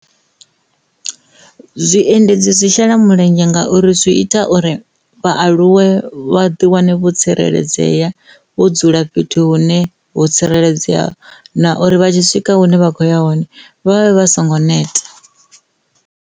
Zwiendedzi zwi shela mulenzhe ngauri zwi ita uri vhaaluwe vha ḓi wane vho tsireledzea vho dzula fhethu hune vho tsireledzea na uri vha tshi swika hune vha kho ya hone vhavhe vha songo neta.